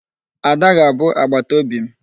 Ada ga-abụ agbataobi m.